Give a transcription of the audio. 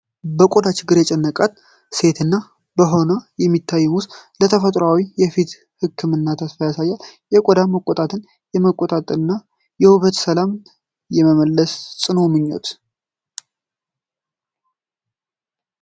በቆዳዋ ችግር የጨነቃት ሴት እና በጎኗ የሚታየው ሙዝ፣ ለተፈጥሮአዊ የፊት ሕክምና ተስፋን ያሳያል። የቆዳ መቆጣትን የማጥፋትና የውበትን ሰላም የመመለስ ጽኑ ምኞት!